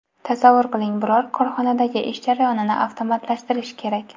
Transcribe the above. Tasavvur qiling biror korxonadagi ish jarayonni avtomatlashtirish kerak.